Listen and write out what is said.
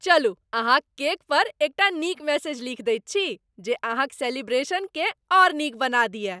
चलू अहाँक केकपर एकटा नीक मेसेज लीखि दैत छी, जे अहाँक सेलिब्रेशनकेँ आओर नीक बना दिअय।